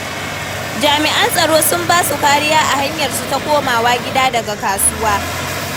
Jami'an tsaro sun ba su kariya a hanyarsu ta komawa gida daga kasuwa.